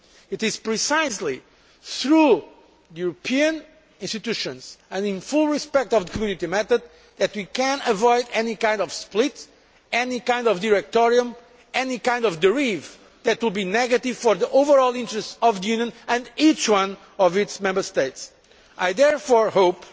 It is precisely through European institutions and in full respect of the Community method that we can avoid any kind of split, any kind of directorium, or any kind of derivation that will be negative for the overall interests of the Union and each one of its Member States. I therefore hope